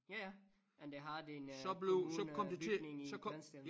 Ja ja men der har de en øh kommunebygning i Grindsted